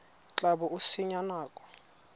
tla bo o senya nako